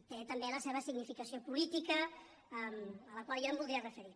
i té també la seva significació política a la qual jo em voldria referir